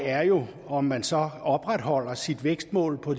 er jo om man så opretholder sit vækstmål på